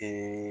O